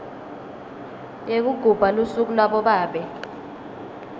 yekugubha lusuku labobabe